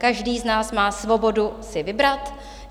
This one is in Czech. Každý z nás má svobodu si vybrat.